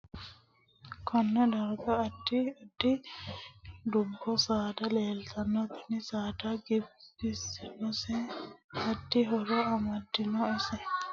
Konne darga addi addi dubbu saada leeltanno tini saada giddose addi addi horo amaddino ise noo basera leelanno dubbi addi addi horo aannoho